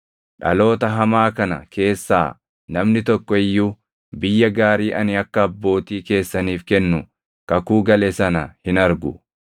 “Dhaloota hamaa kana keessaa namni tokko iyyuu biyya gaarii ani akka abbootii keessaniif kennu kakuu gale sana hin argu;